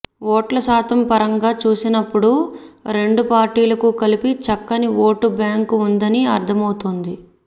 ఓట్ల శాతం పరంగా చూసినప్పుడు రెండు పార్టీలకు కలిపి చక్కని ఓటు బ్యాంకు ఉందని అర్థమవుతోంది